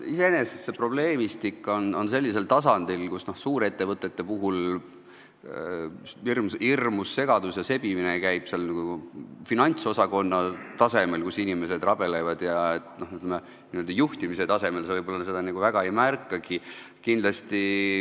Iseenesest on see probleemistik sellisel tasandil, et suurettevõtetes on hirmus segadus ja sebimine finantsosakonnas, kus inimesed rabelevad, n-ö juhtimise tasemel seda võib-olla väga ei märkagi.